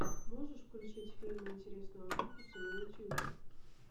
можешь включить фильм интересного фикуса на ютьюбе